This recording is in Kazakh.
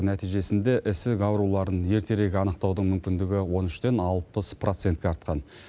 нәтижесінде ісік ауруларын ертерек анықтаудың мүмкіндігі он үштен алпыс процентке артқан